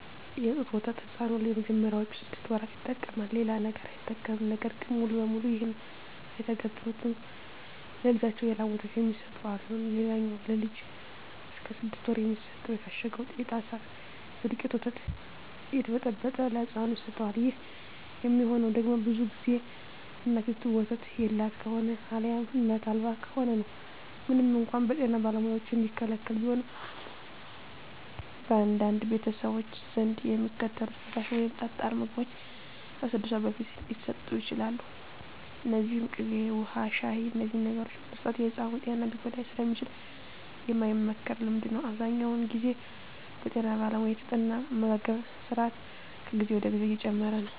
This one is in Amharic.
የጡት ወተት ሕፃኑ ለመጀመሪያዎቹ ስድስት ወራት ይጠቀማል። ሌላ ነገር አይጠቀምም። ነገር ግን ሙሉ በሙሉ ይህን አይተገብሩትም። ለልጃቸው የላም ወተት የሚሰጡ አሉ። ሌላኛው ለልጅ እስከ ስድስት ወር የሚሰጠው የታሸገው የጣሳ የደውቄቱ ወተት እየተበጠበጠ ለህፃኑ ይሰጠዋል። ይህ የሚሆነው ደግሞ ብዙ ግዜ እናቲቱ ወተት የላት ከሆነ አልያም እናት አልባ ከሆነ ነው። ምንም እንኳን በጤና ባለሙያዎች የሚከለከል ቢሆንም፣ በአንዳንድ ቤተሰቦች ዘንድ የሚከተሉት ፈሳሽ ወይም ጠጣር ምግቦች ከስድስት ወር በፊት ሊሰጡ ይችላሉ። እነዚህም ቅቤ፣ ውሀ፣ ሻሂ…። እነዚህን ነገሮች መስጠት የሕፃኑን ጤና ሊጎዳ ስለሚችል የማይመከር ልምምድ ነው። አብዛኛውን ግዜ በጠና ባለሙያ የተጠና አመጋገብ ስራት ከጊዜ ወደ ጊዜ እየጨመረ ነው።